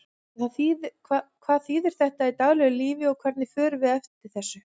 En hvað þýðir þetta í daglegu lífi og hvernig förum við eftir þessu?